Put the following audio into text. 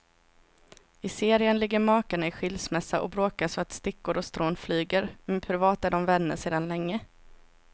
I serien ligger makarna i skilsmässa och bråkar så att stickor och strån flyger, men privat är de vänner sedan länge.